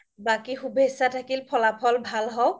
বাকি শুভেচ্ছা থাকিল ফলা ফল ভাল হওক